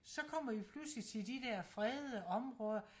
så kommer vi pludselig til de der fredede områder